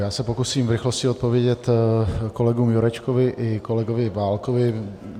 Já se pokusím v rychlosti odpovědět kolegům Jurečkovi i kolegovi Válkovi.